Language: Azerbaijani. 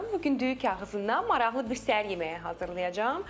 Bu gün düyü kağızından maraqlı bir səhər yeməyi hazırlayacam.